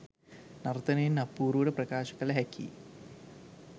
නර්තනයෙන් අපූරුවට ප්‍රකාශ කළ හැකියි.